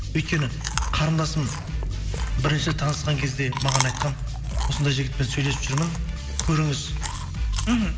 өйткені қарындасым бірінші танысқан кезде маған айтқан осындай жігітпен сөйлесіп жүрмін көріңіз мхм